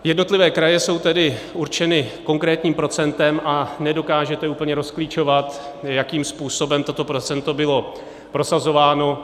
Jednotlivé kraje jsou tedy určeny konkrétním procentem a nedokážete úplně rozklíčovat, jakým způsobem toto procento bylo prosazováno.